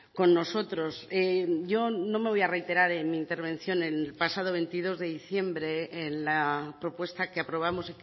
con nosotros yo no me voy a reiterar en mi intervención en el pasado veintidós de diciembre en la propuesta que aprobamos